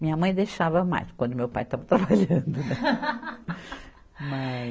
Minha mãe deixava mais, quando meu pai estava trabalhando. Mas